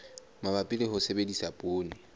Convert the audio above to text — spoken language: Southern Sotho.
mabapi le ho sebedisa poone